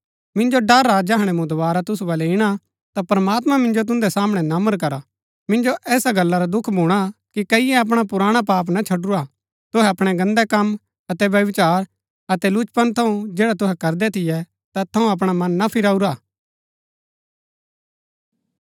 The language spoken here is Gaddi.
मिन्जो ड़र हा जैहणै मूँ दोवारा तुसु बलै इणा ता प्रमात्मां मिन्जो तुन्दै सामणै नम्र करा मिन्जो ऐसा गल्ला रा दुख भूणा कि कईये अपणा पुराणा पाप ना छडुरा हा तुहै अपणै गन्दै कम अतै व्यभिचार अतै लुचपन थऊँ जैडा तुहै करदै थियै तैत थऊँ अपणा मन ना फिराऊरा हा